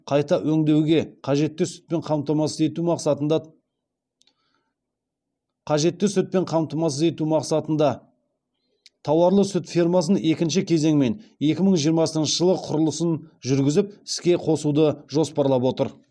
қайта өңдеуге қажетті сүтпен қамтамасыз ету мақсатында тауарлы сүт фермасын екінші кезеңмен екі мың жиырмасыншы жылы құрылысын жүргізіп іске қосуды жоспарлап отыр